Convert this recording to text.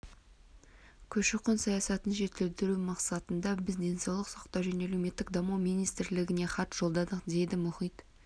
көші-қон саясатын жетілдіру мақсатында біз денсаулық сақтау және әлеуметтік даму министрлігіне хат жолдадық дейді мұхит